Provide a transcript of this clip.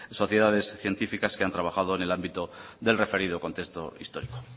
sociedades científicas que han trabajado en el ámbito del referido contexto histórico